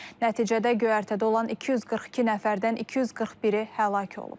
Nəticədə göyərtədə olan 242 nəfərdən 241-i həlak olub.